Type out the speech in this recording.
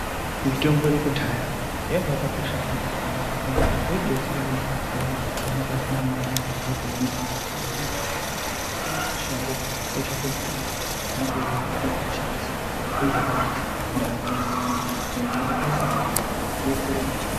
Mitombo yedu yekudhaya yanga yakakosha maningi pandaramo yedu ngekuti yaidetsera vantu vayani vanenge vasina mare zviro zvakaoma ........kutoenda mushango kotsvaka mutombo mwotouya mwotoishandisa zvinenge zvakanaka ndaramo yotoenderera mberi nyangwe mare pasina ndaramo yaigara yakachena.